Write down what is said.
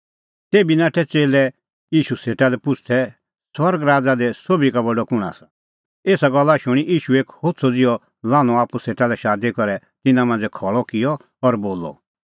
एसा गल्ला शूणीं ईशू एक होछ़अ ज़िहअ लान्हअ आप्पू सेटा शादी करै तिन्नां मांझ़ै खल़अ किअ और बोलअ